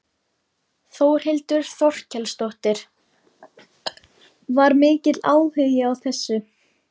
Þórhildur Þorkelsdóttir: Var mikill áhugi á þessu?